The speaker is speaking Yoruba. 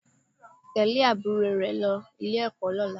Tẹ̀lé àbúrò rẹ lọ Ilé-ẹ̀kọ́ lọ́la